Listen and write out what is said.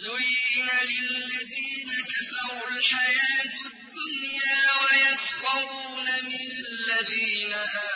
زُيِّنَ لِلَّذِينَ كَفَرُوا الْحَيَاةُ الدُّنْيَا وَيَسْخَرُونَ مِنَ الَّذِينَ